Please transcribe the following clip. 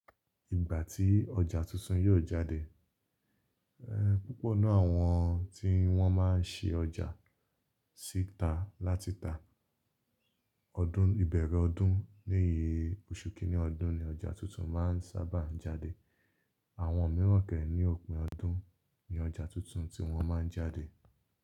Ìgbà tí ọjà tuntun yóò jáde, púpọ̀ nínú àwọn tí wọ́n máa ń ṣe ọjà sí ta láti ta. Ọdún, ìbẹ̀rẹ̀ ọdún bií oṣù kìíní ọdún ni ọjà tuntun máa ń sábà jáde. Àwọn mìíràn ke ni òpin ọdún ni ọjà tuntun tí wọ́n máa ń jáde.